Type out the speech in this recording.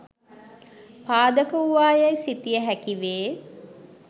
පාදක වූවා යැයි සිතිය හැකි වේ.